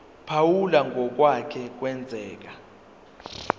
phawula ngokwake kwenzeka